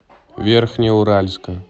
верхнеуральска